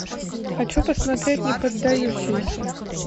хочу посмотреть неподдающиеся